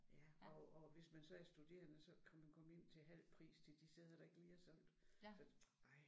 Ja og og hvis man så er studerende så kan man komme ind til halv pris til de steder der ikke lige er solgt